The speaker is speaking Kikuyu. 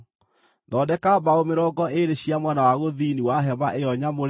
Thondeka mbaũ mĩrongo ĩĩrĩ cia mwena wa gũthini wa hema ĩyo nyamũre,